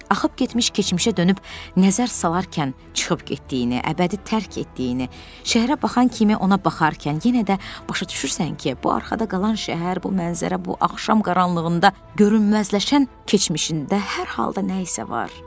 Axıb getmiş keçmişə dönüb nəzər salarkən çıxıb getdiyini, əbədi tərk etdiyini, şəhərə baxan kimi ona baxarkən yenə də başa düşürsən ki, bu arxada qalan şəhər, bu mənzərə bu axşam qaranlığında görünməzləşən keçmişində hər halda nəyisə var.